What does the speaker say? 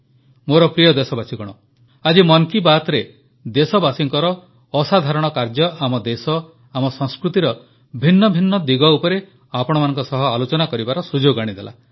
ମୋର ପ୍ରିୟ ଦେଶବାସୀଗଣ ଆଜି ମନ କୀ ବାତ୍ରେ ଦେଶବାସୀଙ୍କର ଅସାଧାରଣ କାର୍ଯ୍ୟ ଆମ ଦେଶ ଆମ ସଂସ୍କୃତିର ଭିନ୍ନ ଭିନ୍ନ ଦିଗ ଉପରେ ଆପଣମାନଙ୍କ ସହ ଆଲୋଚନା କରିବାର ସୁଯୋଗ ଆଣିଦେଲା